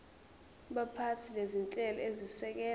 baphathi bezinhlelo ezisekela